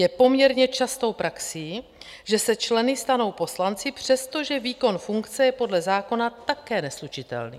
Je poměrně častou praxí, že se členy stanou poslanci, přestože výkon funkce je podle zákona také neslučitelný.